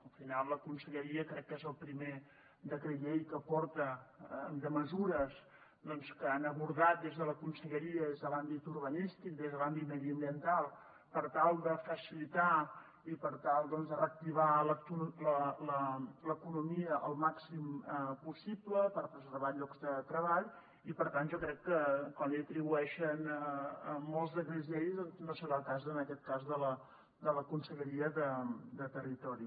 al final la conselleria crec que és el primer decret llei que porta de mesures que han abordat des de la conselleria des de l’àmbit urbanístic des de l’àmbit mediambiental per tal de facilitar i per tal de reactivar l’economia el màxim possible per preservar llocs de treball i per tant jo crec que quan li atribueixen molts decrets llei doncs no serà el cas en aquest cas de la conselleria de territori